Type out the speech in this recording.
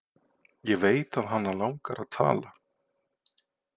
Ég veit að hana langar að tala.